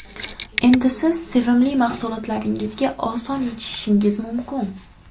Endi siz sevimli mahsulotlaringizga oson yetishishingiz mumkin.